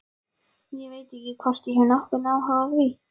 Ég veit ekki hvort ég hef nokkurn áhuga á því.